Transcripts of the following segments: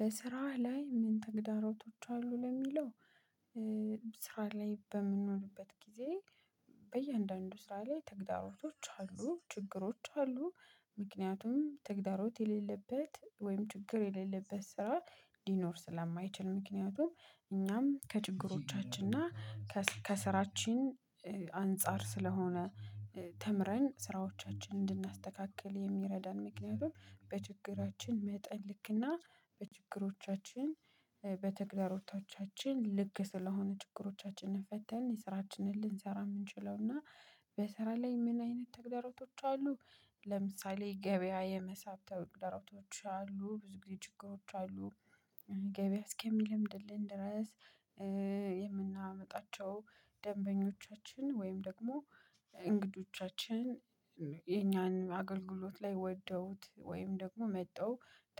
በስራህ ላይ ምን ተግዳሮቶች አሉ ለሚለው? ስራ ላይ በምንሆንበት ጊዜ በእያንዳንዱ ስራ ላይ ተግዳሮቶች አሉ ችግሮች አሉ። ምክንያቱም ተግዳሮት የሌለበት ወይም ችግር የሌለበት ስራ ሊኖር ስለማይችል ምክንያቱም። እኛም ከችግሮቻችን እና ከስራችን አንፃር ስለሆነ። ተምረን ስራዎቻችንን እንድናስተካክል የሚረዳን ምክንያቱም በችግራችን መጠን ልክና በችግሮቻችን በተግዳሮቶቻችን ልክ ስለሆነ ችግሮቻችንን ፈተን የስራችንን ልንሰራ የምንችለው እና። በስራ ላይ ምን አይነት ተግዳሮቶች አሉ? ለምሳሌ ገበያ የመሳብ ተግዳሮቶች አሉ ብዙ ጊዜ ችግሮች አሉ። ገበያ እስከሚለምድልን ድረስ። የምናመጣቸው ደንበኞቻችን ወይም ደግሞ እንግዶቻችን የኛን አገልግሎት ላይ ወደውት ወይም ደግሞ መጥተው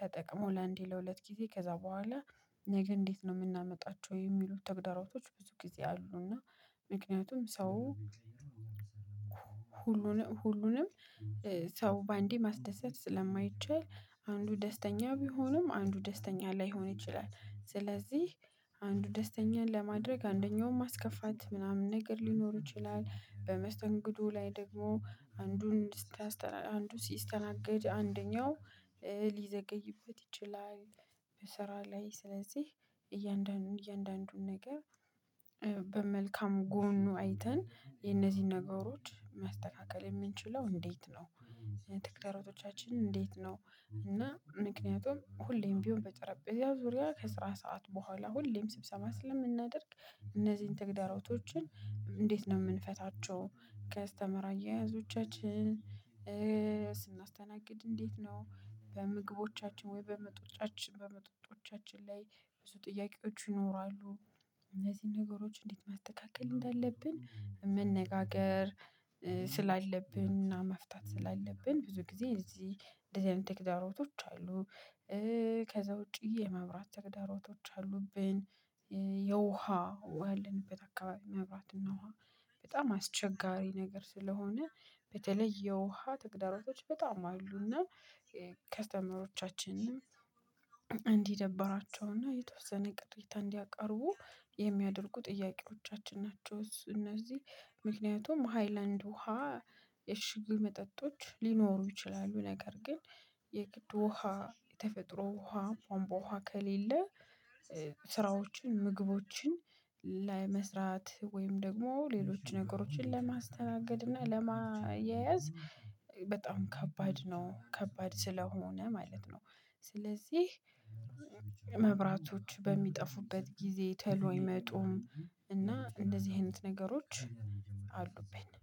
ተጠቅሞ ለአንዴ ለሁለት ጊዜ ከዛ በኋላ ነገ እንዴት ነው የምናመጣቸው የሚሉት ተግዳሮቶች ብዙ ጊዜ አሉ። እና ምክንያቱም ሰው ሁሉንም ሰው በአንዴ ማስደሰት ስለማይቻል። አንዱ ደስተኛ ቢሆንም አንዱ ደስተኛ ላይሆን ይችላል ስለዚህ አንዱ ደስተኛን ለማድረግ አንደኛውን ማስከፋት ምናምን ነገር ሊኖር ይችላል። በመስተንግዶ ላይ ደግሞ አንዱን አንዱን ሲስተናገድ አንደኛው ሊዘገይበት ይችላል። ላይ ስለዚህ እያንዳንዱን እያንዳንዱን ነገር በመልካሙ ጎኑ አይተን የነዚህን ነገሮች ማስተካከል የምንችለው እንዴት ነው? ተግዳሮቶቻችን እንዴት እና ምክንያቱም ሁሌም ቢሆን በጠረጴዛ ዙሪያ ከስራ ሰዓት በኋላ ሁሌም ስብሰባ ስለምናደርግ እነዚህን ተግዳርፕቶችን እንዴት ነው የምንፈታቸው? ከስተመር አያያዞቻችን ስናስተናግድ እንዴት ነው በምግቦቻችን ወይ በመጦጫችን በመጠጦቻችን ላይ ብዙ ጥያቄዎች ይኖራሉ። እነዚህን ነገሮች እንዴት ማስተካከል እንዳለብን መነጋገር ስላለብን እና መፍታት ስላለብን ብዙ ጊዜ እዚህ እንደዚህ አይነት ተግዳሮቶች አሉ። ከዛ ውጪ የመብራት ተግዳሮቶች አሉብን። የውሃ ያለንበት አካባቢ መብራትና ውሃ በጣም አስቸጋሪ ነገር ስለሆነ በተለይ የውሃ ተግዳሮቶች በጣም አሉና። ከስተመሮቻችንንም እንዲደብራቸውና የተወሰነ ቅሬታ እንዲያቀርቡ የሚያደርጉ ጥያቄዎቻችን ናቸው። እነዚህ ምክንያቱም ሃይላንድ ውሃ የሽግ መጠጦች ሊኖሩ ይችላሉ። ነገር ግን የግድ ውሃ የተፈጥሮ ውሃ ቧንቧ ውሃ ከሌለ። ስራዎችን ምግቦችን ላይ መስራት ወይም ደግሞ ሌሎች ነገሮችን ለማስተናገድ እና ለማያያዝ በጣም ከባድ ነው። ከባድ ስለሆነ ማለት ነው። ስለዚህ መብራቶች በሚጠፉበት ጊዜ ቶሎ አይመጡም እና እንደዚህ አይነት ነገሮች አሉብን